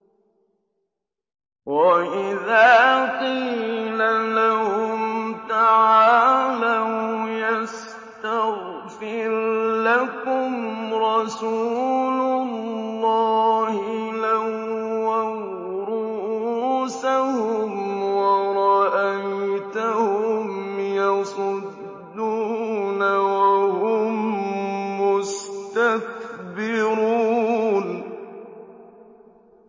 وَإِذَا قِيلَ لَهُمْ تَعَالَوْا يَسْتَغْفِرْ لَكُمْ رَسُولُ اللَّهِ لَوَّوْا رُءُوسَهُمْ وَرَأَيْتَهُمْ يَصُدُّونَ وَهُم مُّسْتَكْبِرُونَ